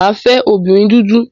Mà á fẹ́ obìnrin dúdú.